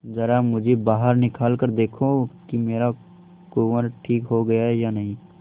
जरा मुझे बाहर निकाल कर देखो कि मेरा कुंवर ठीक हो गया है या नहीं